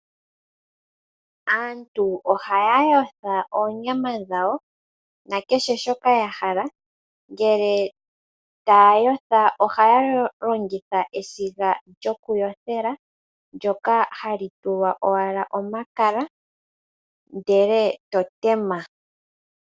Aantu ohaya yotha oonyama dhawo nekehe shoka yahala. Ngele taya yotha ohaya longitha esiga lyokuyothela ndyoka hali tulwa owala omakala , ndele eto tema.